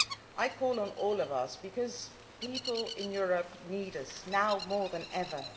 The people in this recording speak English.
I call on all of us, because people in Europe need us now more than ever.